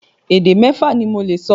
Èdè mẹ́fa ni mo lè sọ.